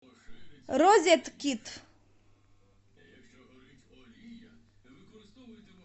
розеткит